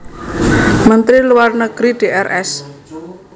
Menteri Luar Negeri Drs